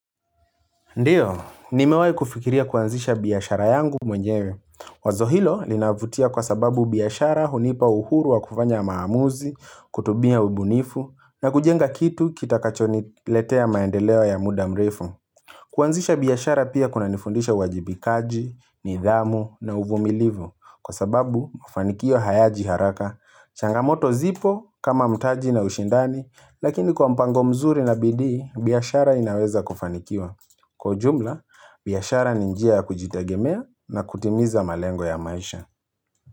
Ndiyo, nimewai kufikiria kuanzisha biashara yangu mwenyewe. Wazo hilo linavutia kwa sababu biashara hunipa uhuru wa kufanya maamuzi, kutubia ubunifu, na kujenga kitu kita kachoni letea maendeleo ya muda mrefu. Kuanzisha biashara pia kuna nifundisha uwajibikaji, nidhamu na uvumilivu kwa sababu mafanikio hayaji haraka. Changamoto zipo kama mtaji na ushindani, lakini kwa mpango mzuri na bidii, biashara inaweza kufanikiwa. Kwa ujumla, biashara ni njia ya kujitagemea na kutimiza malengo ya maisha.